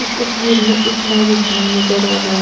इस तस्वीर में एक मैरिज होम नजर आ रहा है।